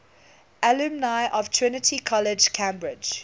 alumni of trinity college cambridge